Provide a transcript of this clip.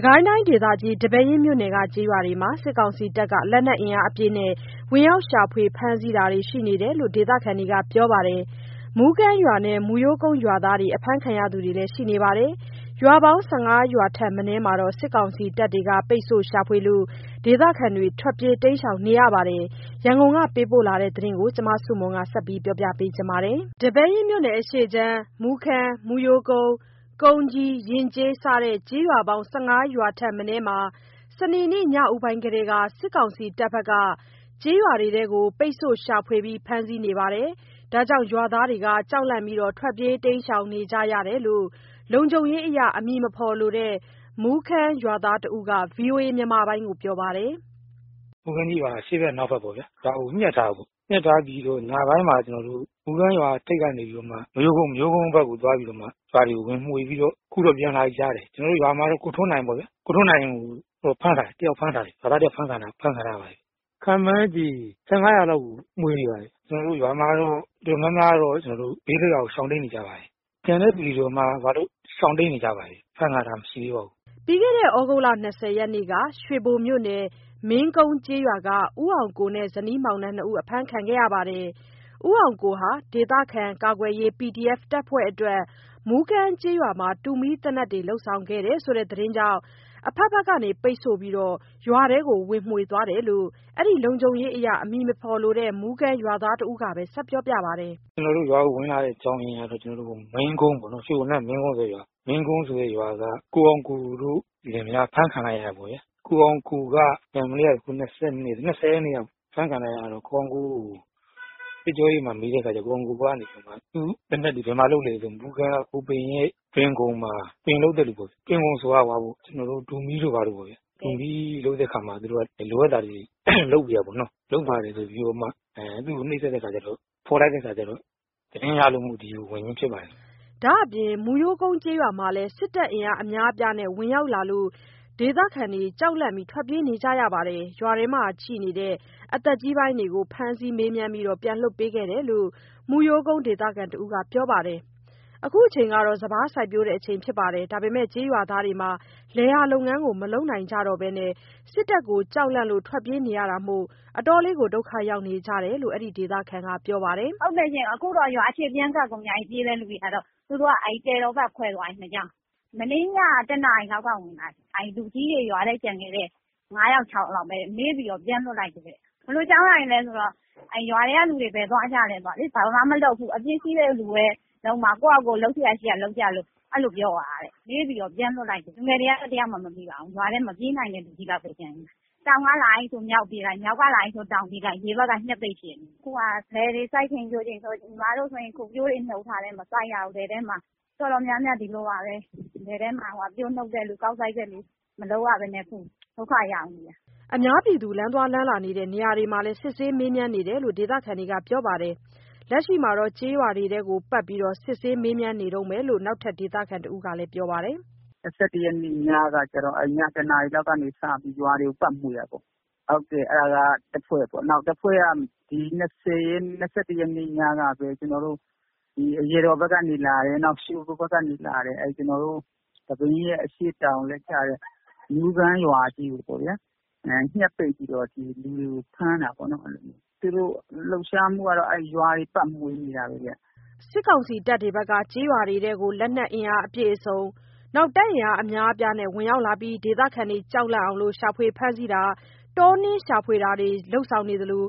ကိုင်းတိုင်းဒေသကြီး၊ ဒီပဲယင်းမြို့နယ်က ကျေးရွာတွေမှာ စစ်ကောင်စီတပ်က လက်နက်အင်အားအပြည့်နဲ့ ဝင်ရောက်ရှာဖွေ ဖမ်းဆီးတာတွေရှိနေတယ်လို့ ဒေသခံတွေကပြောပါတယ်။ မူးကမ်းရွာနဲ့ မူးရိုးကုန်းရွာသားတွေ အဖမ်းခံရသူတွေရှိနေပါတယ်။ ရွာပေါင်း ၁၅ ရွာထက်မနည်းမှာ စစ်ကောင်စီတပ်တွေ ပိတ်ဆို့ရှာဖွေလို့ ဒေသခံတွေထွက်ပြေးတိမ်းရှောင်နေရပါတယ်။ ရန်ကုန်ကပေးပို့တဲ့ သတင်းကို မဆုမွန်က တင်ပြပေးထားပါတယ်။ ဒီပဲယင်းမြို့နယ် အရှေ့ခြမ်း မူးကမ်း၊ မူးရိုးကုန်း၊ ကုန်းကြီး၊ ယဉ်ကျေး စတဲ့ ကျေးရွာပေါင်း ၁၅ ရွာထက်မနည်းမှာ စနေနေ့ညဦးပိုင်းကတည်းက စစ်ကောင်စီတပ်က ရွာတွေကို ပိတ်ဆို့ရှာဖွေဖမ်းဆီးနေလို့ ရွာသားတွေ ကြောက်လန့်ပြီး ထွက်ပြေးတိမ်းရှောင်နေကြရတယ်လို့ လုံခြုံရေးအရ နာမည်မဖော်လိုတဲ့ မူးကမ်းရွာသားတဦးက ဗွီအိုအေကို ပြောပါတယ်။ “မူးကမ်းကြီးရွာကို အရှေ့ဖက် အနောက်ဖက်ပေါ့ဗျ။ ရွာကို (စစ်ကောင်စီက ပိတ်ဆို့) ညှပ်ထားတယ်။ ညှပ် ထားပြီးတော့ ညပိုင်းမှာ ကျနော်တို့ မူးကမ်းရွာထိပ်ကနေပြီးတော့မှ မရိုးကုန်းဘက်ကိုသွားပြီး ရွာတွေကို ဝင်မွှေးပြီးတော့ အခုတော့ ပြန်လာပြီကြားတယ်။ ကျနော်တို့ရွာမှာတော့ ကိုထွန်းနိုင်ပေါ့ဗျာ။ ကိုထွန်းနိုင်ကို ဖမ်းထားတယ်။ ရွာသားတယောက်ဖမ်းခံထားရပါတယ်။ ခန့်မှန်းခြေ ၁၅ လောက်ကို မွှေနေပါတယ်။ ကျနော်တို့ရွာမှာတော့ တော်တော်များတော့ ဘေးလွတ်ရာကို ရှောင်တိမ်းနေကြပါတယ်။ ကျန်တဲ့သူတွေရှောင် တိမ်းနေကြပါတယ်။ အဖမ်းခံထားတာမရှိသေးပါဘူး။” ပြီးခဲ့တဲ့ သြဂုတ်လ ၂၀ ရက်နေ့က ရွှေဘိုမြို့နယ်၊ မင်းကုန်းကျေးရွာက ကိုအောင်ကိုတို့ဇနီးမောင်နှံ နှစ်ဦး အဖမ်းခံရပြီး ကိုအောင်ကိုဟာ ဒေသခံကာကွယ်ရေး PDF တပ်ဖွ့ဲတွေအတွက် မူးကမ်းကျေးရွာမှာ တူမီးသေနတ်တွေ လုပ်ဆောင်ခဲ့တယ်ဆိုတဲ့သတင်းကြောင့် အဖက်ဖက်က ပိတ်ဆို့ပြီး ရွာထဲဝင်မွှေသွားတယ်လို့ အဲ့ဒီ လုံခြုံရေးအရ နာမည်မဖော်လိုတဲ့ မူးကမ်းရွာသား တဦးက ဆက်ပြောပါတယ်။ “ကျနော်တို့ရွာကိုဝင်လာတဲ့ အကြောင်းရင်းကတော့ ကျနော်တို့ မင်းကွန်းပါ့နော်။ ရွှေဘိုက မင်းကွန်းဆိုတဲ့ရွာက ကိုအောင်ကိုတို့ လင်မယား အဖမ်းခံလိုက်ရတယ်ပေါ့ဗျာ။ ၂၀ ရက်နေ့က အဖမ်းခံလိုက်ရတော့ ကိုအောင်ကိုကို စစ်ကြောရေးမှာ မေးတဲ့အခါကျတော့ ကိုအောင်ကိုကနေပြီးတော့ သူ့ သေနတ်တွေ ဘယ်မှာလုပ်လဲဆိုတော့ မူးကမ်းက ကိုဘိမ်းရဲ့ တွင်ခုံမှာ ပင်လုပ်တဲ့လူပေ့ါဗျာ။ တွင်ခုံဆိုတာ ဟိုဟာပေ့ါ ကျနော်တို့ တူမီး (သေနတ်)တို့ ဘာတို့ပေါ့ဗျာ၊ တူးမီးလုပ်တဲ့အခါမှာ လိုအပ်တာတွေ လုပ်ပေးရတာပေါ့နော်။ လုပ်ပါတယ်ဆိုပြီးတော့မှ သူ့ကို နှိပ်စက်တဲ့အခါကျတော့ ဖော်လိုက်တဲ့အခါကျတော့ သတင်းရလို့မို့ ဝင်ခြင်းဖြစ်ပါတယ်။” ဒါအပြင် မူးရိုးကုန်းကျေးရွာမှာလည်း စစ်တပ်အင်အားအများအပြားနဲ့ဝင်ရောက်လာလို့ ဒေသခံတွေ ကြောက်လန့်ထွက်ပြေးနေကြရပါတယ်။ ရွာထဲမှာ ကျန်ရှိနေတဲ့ အသက်ကြီးပိုင်းတွေကို ဖမ်းဆီးမေးမြန်းပြီး ပြန်လွှတ်ပေးခဲ့တယ်လို့ မူးရိုးကုန်းဒေသခံတဦးက ပြောပါတယ်။ လက်ရှိချိန်မှာ စပါးစိုက်ပျိုးချိန်ဖြစ်ပြီး လယ်ယာလုပ်ငန်းကိုမလုပ်နိုင်ဘဲ စစ်တပ်ကို ကြောက်လန့်လို့ ထွတ်ပြေးနေရတာမို့ ဒုက္ခရောက်နေကြတယ်လို့ အဲ့ဒီဒေသခံက ပြောပါတယ်။ “ဟုတ်တယ်ရှင့်၊ အခုတော့ရွာအခြေ ပြန်ကပ်ကုန်ကြပြီး ပြေးတဲ့ လူတွေကတော့။..... မနေ့ညက ၁ နာရီလောက်က ဝင်လာတယ်။ ရွာထဲကျန်ခဲ့တဲ့ လူကြီးတွေ ၅ ယောက် ၆ ယောက်ပဲ မေးပြီး ပြန်လွှက်တယ်တဲ့။ ဘယ်လိုအကြောင်းအရာတွေလဲဆိုတော့... ရွာထဲကလူတွေ ဘယ်သွားကြလဲပေါ့လေ။ ဘာမှမလုပ်ဘူး။ အပြစ်ရှိတဲ့လူပဲ လုပ်မှာ၊ ကိုယ်ဟာကိုယ်လုပ်စရာရှိတာလုပ်လို့ အဲ့လိုပြောသွားတယ်။ လူငယ်တွေက တယောက်မှမမိပါဘူး။ ရွာထဲမှာက မပြေးနိုင်တဲ့ လူကြီးလောက်ပဲ ကျန်နေတယ်။ တောင်ဘက်ကလာပြီးဆို မြောက်ဘက်ပြေးလိုက်၊ မြောက်ကလာတယ်ဆို တောင်ပြေးလိုက်။ ဒီဘက်က (စစ်ကောင်စီကပိတ်ဆို့) ညှပ်ပိတ်ရှိတယ်။ အခုဟာက လယ်တွေ စိုက်ချိန်ပျိုးချိန်ဆို ညီမတို့ဆိုရင် အခုပျိုးတွေ နှုတ်ထားတယ်။ မစိုက်ရဘူး။ တော်တော်များများ ဒီလိုပါပဲ။ လယ်ထဲမှာ ပျိုးနှုတ်တဲ့လူ၊ ကောက်စိုက်တဲ့လူ မလုပ်ရဘဲနဲ့ ဒုက္ခရောက်နေတယ်။” လမ်းသွားလမ်းလာတဲ့ နေရာမှာလည်း စစ်ဆေးမေးမြန်းတာတွေရှိနေတယ်လို့ ဒေသခံတွေ ပြောပါတယ်။ လက်ရှိမှာလည်း ကျေးရွာတွေကို ပတ်မွှေနေတုန်းပဲလို့ နောက်ထပ် ဒေသခံတဦးက ပြောပါတယ်။ “၂၁ ရက်နေ့ညကတော့ ည ၁ နာရီလောက်ကနေ စပြီး ရွာတွေကို ပတ်မွှေတာပေါ့။ ဟုတ်တယ် အဲ့ဒါက တဖွဲ့ပေါ့နော်။ နောက်တဖွဲ့က ၂၁ နေ့ညကပဲ ကျနော်တို့ အရာတော်ဘက်ကနေလာတယ်။ နောက် ရွှေဘိုဘက်ကနေ လာတယ်။ ဒီပဲယင်းရဲ့ အရှေ့တောင်လည်းကျတဲ့ မူးကမ်းရွာကြီးကိုပေါ့ဗျာ၊ ညှပ်ပိတ်ပြီးတော့ လူတွေကိုဖမ်းတာပေါ့နော်။ အဲ့လိုမျိုးတွေ (စစ်ကောင်စီ) သူတို့လှုပ်ရှားမှုတွေကတော့ ရွာတွေ ပတ်မွှေနေတာပေါ့ဗျာ။” စစ်ကောင်စီတပ်တွေက လက်နက်အပြည့်အစုံ အင်အားအများအပြားနဲ့ ဒေသခံတွေ ကြောက်လန့်အောင် ရှာဖွေဖမ်းဆီးတာ၊ တောနင်းရှာဖွေတာလုပ်ဆောင်နေသလိ